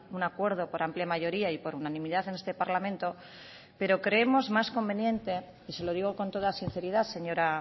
un acuerdo por amplia mayoría y por unanimidad en este parlamento pero creemos más conveniente y se lo digo con toda sinceridad señora